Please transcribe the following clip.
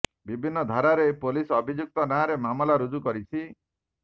ବିଭିନ୍ନ ଧାରାରେ ପୋଲିସ ଅଭିଯୁକ୍ତ ନାଁରେ ମାମଲା ରୁଜୁ କରିଛି